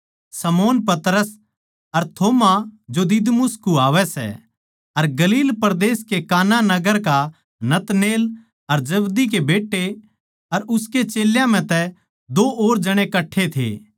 शमौन पतरस अर थोमा जो दिदुमुस कुह्वावै सै अर गलील परदेस कै काना नगर का नतनएल अर जब्दी के बेट्टे अर उसके चेल्यां म्ह तै दो और जणे कट्ठे थे